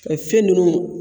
Fɛn ninnu